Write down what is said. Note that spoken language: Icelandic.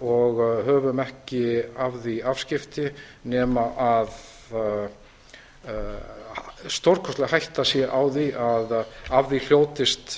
og höfum ekki af því afskipti nema stórkostleg hætta sé á því að af því hljótist